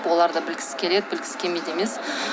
олар да білгісі келеді білгісі келмейді емес